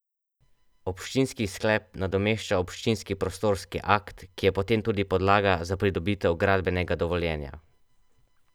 Občinski sklep nadomešča občinski prostorski akt, ki je potem tudi podlaga za pridobitev gradbenega dovoljenja.